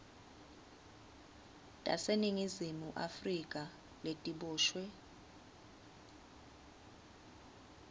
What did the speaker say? taseningizimu afrika letiboshwe